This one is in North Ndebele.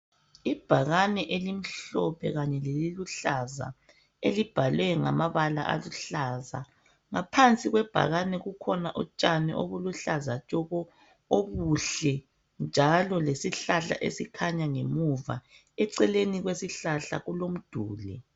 Ibhakane elimhlophe kanye leliluhlaza elibhalwe ngamabala aluhlaza , ngaphansi kwebhakane kukhona utshani obuluhlaza tshoko obuhle, njalo lesihlahla esikhanya ngemuva eceleni kwesihlahla kulomduli.